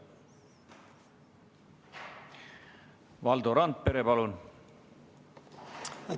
Valdo Randpere, palun!